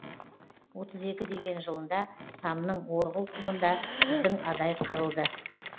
отыз екі деген жылында самның орғыл құмында біздің адай қырылды